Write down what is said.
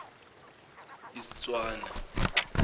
istswana